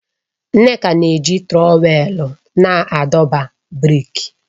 Nneka na-eji trọwèlu na-adọba brik